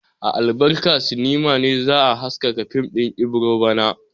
A Albarka sinima ne za a haska fim din Ibiro bana.